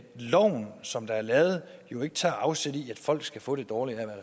loven som er lavet jo ikke tager afsæt i at folk skal få det dårligere